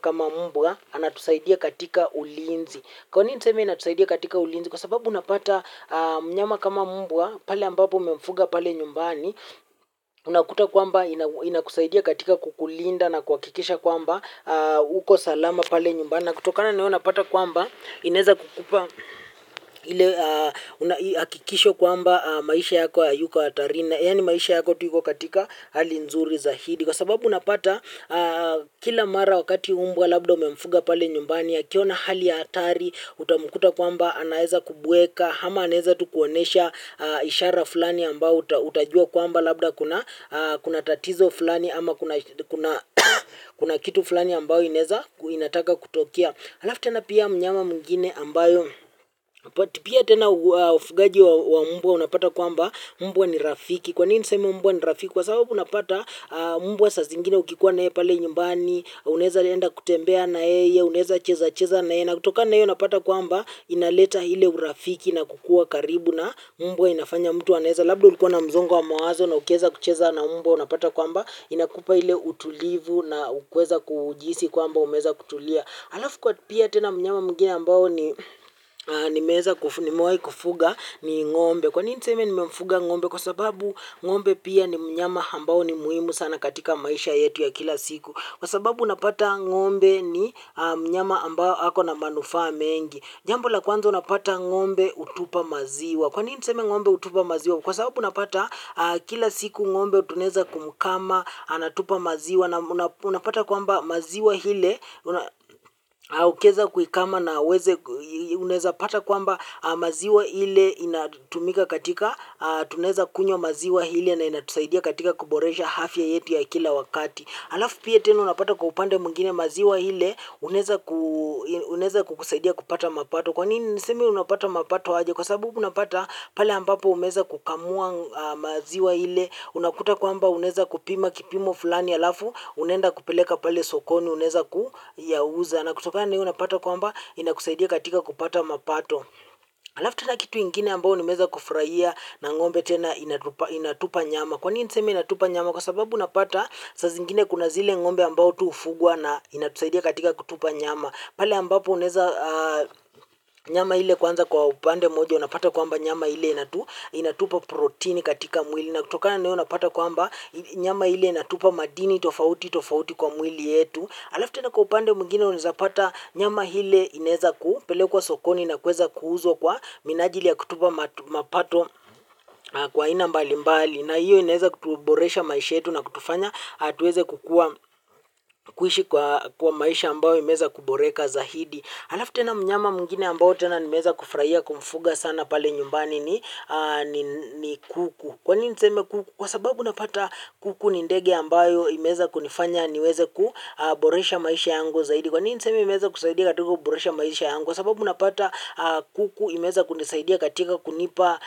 kama mbwa, anatusaidia katika ulinzi. Kwa nini niseme inatusaidia katika ulinzi, kwa sababu unapata mnyama kama mbwa, pale ambapo mmemfuga pale nyumbani, unakuta kwamba inakusaidia katika kukulinda na kuhakikisha kwamba, uko salama pale nyumbani na kutokana na hiyo unapata kwamba, inaweza kukupa ile hakikisho kwamba maisha yako hayuko hatarini. Na yani maisha yako tu hivyo katika hali nzuri zaidi. Kwa sababu unapata kila mara wakati mbwa labda umemfuga pale nyumbani akiona hali ya hatari, utamkuta kwamba anaweza kubweka, ama anaweza tu kuonesha ishara fulani ambayo utajua kwamba labda kuna tatizo fulani ama kuna kitu fulani ambayo inaweza inataka kutokea. Alafu tena pia mnyama mwingine ambayo, pia tena ufugaji wa mbwa unapata kwamba, mbwa ni rafiki. Kwa nini niseme mbwa ni rafiki? Kwa sababu unapata mbwa saa zingine ukikuwa nae pale nyumbani, unaweza kwenda kutembea na yeye, unaweza cheza cheza nae, na kutokana na hiyo unapata kwamba inaleta ile urafiki na kukua karibu na mbwa inafanya mtu anaweza. Labda ulikuwa na msongo wa mawazo na ukiweza kucheza na mbwa unapata kwamba, inakupa ile utulivu na kuweza kujihisi kwamba umeweza kutulia. Halafu kwetu pia tena mnyama mwingine ambao ni nimewahi kufuga ni ng'ombe. Kwa nini niseme nimemfuga ng'ombe kwa sababu ng'ombe pia ni mnyama ambao ni muhimu sana katika maisha yetu ya kila siku. Kwa sababu unapata ng'ombe ni mnyama ambao ako na manufaa mengi. Jambo la kwanza unapata ng'ombe hutupa maziwa. Kwa nini niseme ng'ombe hutupa maziwa kwa sababu unapata kila siku ng'ombe tunaweza kumkamua anatupa maziwa. Na unapata kwamba maziwa ile au ukiweza kuikamua na uweze unaweza pata kwamba maziwa ile inatumika katika tunaweza kunywa maziwa ile na inatusaidia katika kuboresha afya yetu ya kila wakati alafu pia tena unapata kwa upande mwingine maziwa ile unaweza kukusaidia kupata mapato kwanini niseme unapata mapato aje kwa sababu unapata pale ambapo umeweza kukamua maziwa ile unakuta kwamba unaweza kupima kipimo fulani alafu unaenda kupeleka pale sokoni unaweza kuyauza na kutokana na hiyo unapata kwamba inakusaidia katika kupata mapato alafu tena kitu ingine ambayo nimeweza kufurahia na ng'ombe tena inatupa nyama kwa nini niseme inatupa nyama kwa sababu unapata saa zingine kuna zile ng'ombe ambao tu hufugwa na inatusaidia katika kutupa nyama pale ambapo unaweza nyama ile kwanza kwa upande mmoja unapata kwamba nyama ile inatupa protin katika mwili na kutokana na hiyo unapata kwamba nyama ile inatupa madini tofauti tofauti kwa mwili yetu. Alafu tena kwa upande mwingine unaweza pata nyama ile inaweza kupelekwa sokoni na kuweza kuuzwa kwa minajili ya kutupa mapato kwa aina mbali mbali na hiyo inaweza kutuboresha maisha yetu na kutufanya tuweze kukua kuishi kwa maisha ambayo imeweza kuboreka zaidi. Alafu tena mnyama mwingine ambao tena nimeweza kufurahia kumfuga sana pale nyumbani ni kuku. Kwa nini niseme kuku? Kwa sababu unapata kuku ni ndege ambayo imeweza kunifanya niweze kuboresha maisha yangu zaidi. Kwanini niseme imeweza kusaidia katika kuboresha maisha yangu. Kwa sababu unapata kuku imeweza kunisaidia katika kunipa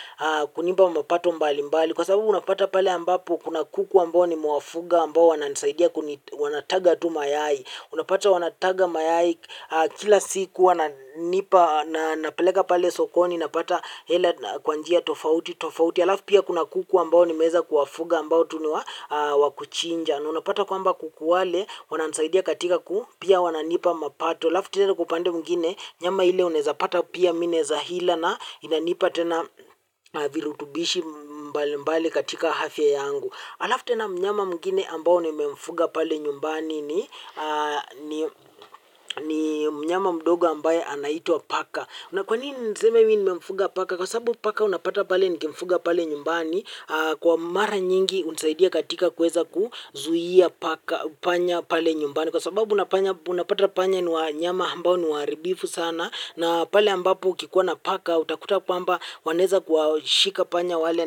mapato mbali mbali. Kwa sababu unapata pale ambapo kuna kuku ambao nimewafuga ambao wananisaidia wanataga tu mayai. Unapata wanataga mayai kila siku wananipa na napeleka pale sokoni napata hela kwa njia tofauti alafu pia kuna kuku ambao nimeweza kuwafuga ambao tu ni wa kuchinja na unapata kwamba kuku wale wananisaidia katika kuu pia wananipa mapato alafu tena kwa upande mwingine nyama hile unaweza pata pia mimi naweza ila na inanipa tena virutubisho mbali mbali katika afya yangu. Halafu tena mnyama mwingine ambao nimemfuga pale nyumbani ni mnyama mdogo ambaye anaitwa paka. Na kwanini niseme mimi nimemfuga paka, kwa sababu paka unapata pale nikimfuga pale nyumbani kwa mara nyingi hunisaidia katika kuweza kuzuia panya pale nyumbani. Kwa sababu unapata panya ni wanyama ambao ni waharibifu sana na pale ambapo ukikuwa na paka utakuta kwamba wanaweza kuwashika panya wale.